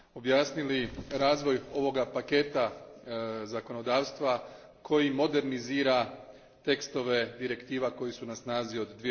objasnili razvoj ovoga paketa zakonodavstva koji modernizira tekstove direktiva koji su na snazi od